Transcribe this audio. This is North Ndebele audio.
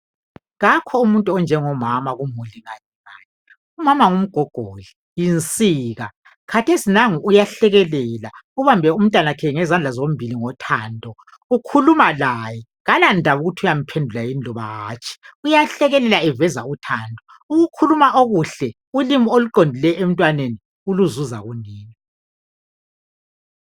Kakho umuntu onjengomama kumbe olingana laye, umama ngumgogodla, yinsika khathesi nangu uyahlekelela ubambe umntanakhe ngezandla zombili ngothando. Ukhuluma laye kalandaba ukuthi uyamphendula yini loba hatshi uyahlekelela eveza uthando, ukukhuluma okuhle ulimi oluqondileyo emntwaneni uluzuza kunina.